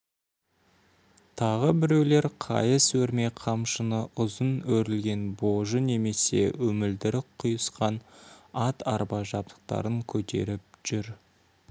тағы біреулер қайыс өрме қамшыны ұзын өрілген божы немесе өмілдірік-құйысқан ат-арба жабдықтарын көтеріп жүр